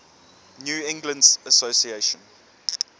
new england association